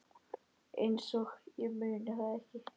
Einsog ég muni það ekki!